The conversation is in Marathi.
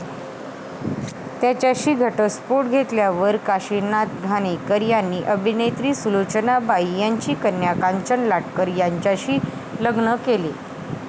त्यांच्याशी घटस्फोट घेतल्यावर काशिनाथ घाणेकर यांनी अभिनेत्री सुलोचनाबाई ची कन्या कांचन लाटकर यांच्याशी लग्न केले.